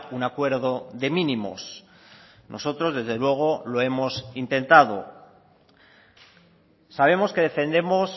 un acuerdo de mínimos nosotros desde luego lo hemos intentado sabemos que defendemos